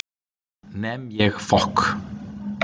Nem ég fokk